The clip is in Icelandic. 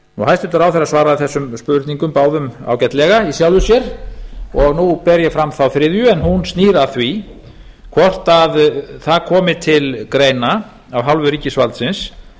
hæstvirtur ráðherra svaraði þessum spurningum báðum ágætlega í sjálfu sér og nú ber ég fram þá þriðju en hún snýr að því hvort að það komi til greina af hálfu ríkisvaldsins